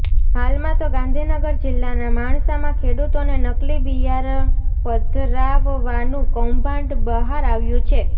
હાલમાં તો ગાંધીનગર જિલ્લાના માણસામાં ખેડૂતોને નકલી બિયારણ પધરાવવાનું કૌભાંડ બહાર આવ્યું છે